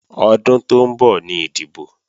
Ọdún tó ń bọ̀ ni ìdìbò